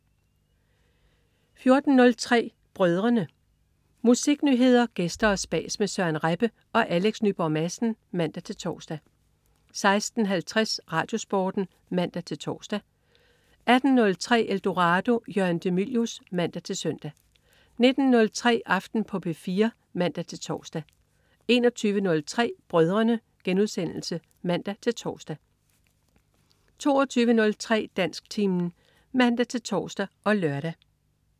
14.03 Brødrene. Musiknyheder, gæster og spas med Søren Rebbe og Alex Nyborg Madsen (man-tors) 16.50 RadioSporten (man-tors) 18.03 Eldorado. Jørgen de Mylius (man-søn) 19.03 Aften på P4 (man-tors) 21.03 Brødrene* (man-tors) 22.03 Dansktimen (man-tors og lør)